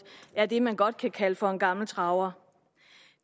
er det man godt kan kalde for en gammel traver